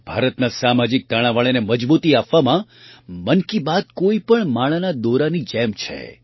ભારતના સામાજિક તાણાવાણાને મજબૂતી આપવામાં મન કી બાત કોઈ પણ માળાના દોરાની જેમ છે